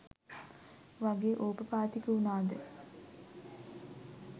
වගේ ඕපපාතික වුනාද?